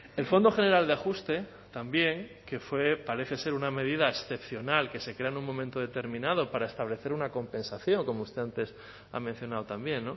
el fondo general de ajuste también que fue parece ser una medida excepcional que se crea en un momento determinado para establecer una compensación como usted antes ha mencionado también